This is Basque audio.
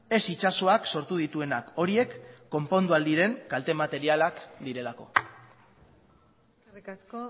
ez itsasoak sortu dituenak horiek konpondu ahal diren kalte materialak direlako eskerrik asko